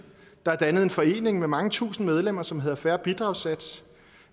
der er dannet en forening med mange tusinde medlemmer som hedder fair bidragssats